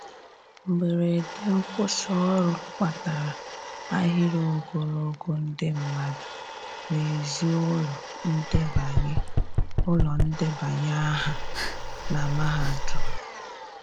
Mgberede nkwusi ọrụ kpatara ahịrị ogologo ndi madu n'ezi ụlọ ndebanye ụlọ ndebanye aha na mahadum